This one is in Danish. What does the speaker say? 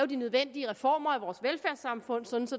de nødvendige reformer af vores velfærdssamfund så